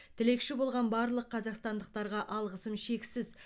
тілекші болған барлық қазақстандықтарға алғысым шексіз